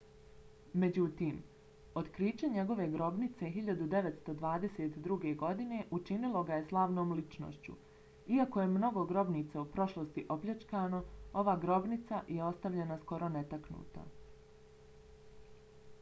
međutim otkriće njegove grobnice 1922. godine učinilo ga je slavnom ličnošću. iako je mnogo grobnica u prošlosti opljačkano ova grobnica je ostavljena skoro netaknuta